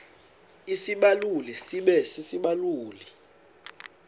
isibaluli sibe sisibaluli